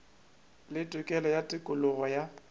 le tokelo ya tokologo ya